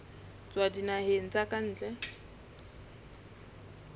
tswa dinaheng tsa ka ntle